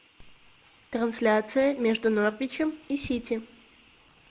трансляция между норвичем и сити